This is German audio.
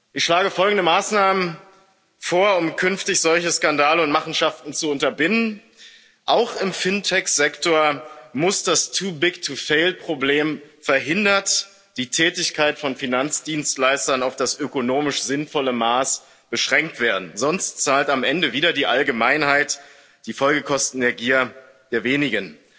Ich schlage folgende Maßnahmen vor, um künftig solche Skandale und Machenschaften zu unterbinden Auch im FinTech Sektor muss das Too big to fail Problem verhindert, die Tätigkeit von Finanzdienstleistern auf das ökonomisch sinnvolle Maß beschränkt werden, sonst zahlt am Ende wieder die Allgemeinheit die Folgekosten der Gier der Wenigen.